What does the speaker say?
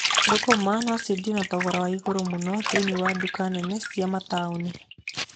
Thũkũma no ciendio na thogora wa igũrũ mũno thĩiniĩ wa nduka nene cia mataũni.